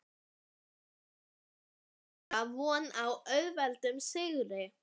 En átti Aldís Kara von á svo auðveldum sigri?